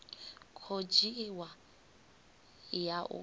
khou dzhiwa i ya u